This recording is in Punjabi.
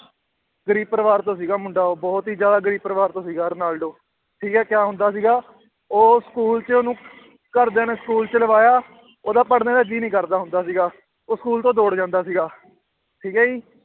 ਗ਼ਰੀਬ ਪਰਿਵਾਰ ਤੋਂ ਸੀਗਾ ਮੁੰਡਾ ਉਹ ਬਹੁਤ ਹੀ ਜ਼ਿਆਦਾ ਗ਼ਰੀਬ ਪਰਿਵਾਰ ਤੋਂ ਸੀਗਾ ਰੋਨਾਲਡੋ ਠੀਕ ਹੈ ਕਿਆ ਹੁੰਦਾ ਸੀਗਾ ਉਹ school 'ਚ ਉਹਨੂੰ ਘਰਦਿਆਂ ਨੇ school 'ਚ ਲਵਾਇਆ ਉਹਦਾ ਪੜ੍ਹਨੇ ਦਾ ਜੀਅ ਨੀ ਕਰਦਾ ਹੁੰਦਾ ਸੀਗਾ, ਉਹ school ਤੋਂ ਦੌੜ ਜਾਂਦਾ ਸੀਗਾ ਠੀਕ ਹੈ ਜੀ